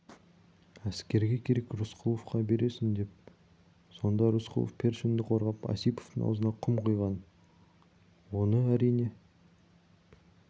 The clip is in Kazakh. әскерге керек азықты рысқұловқа бересің деп сонда рысқұлов першинді қорғап осиповтің аузына құм құйған оны әрине